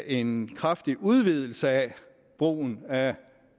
en kraftig udvidelse af brugen af